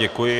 Děkuji.